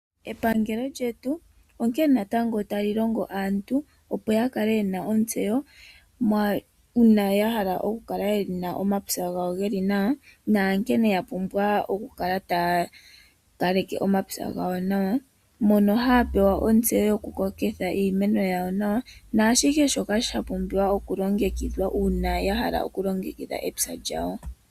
Epangelo lyetu onkene natango tali longo aantu opo yakale yena ontseyo uuna yahala yakale yena omapya gawo geli nawa naankene yapumbwa okukala taya kaleke omapya gawo nawa mono haapewa ontseyo yokukokitha iimeno yawo nawa naashihe shono shapumbiwa okulongekidhwa uuna yahala okulongekidha omapya gawo.